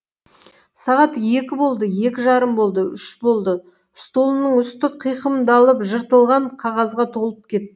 сағат екі болды екі жарым болды үш болды столымның үсті қиқымдалып жыртылған қағазға толып кет